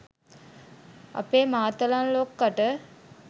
අපේ මාතලන් ලොක්කට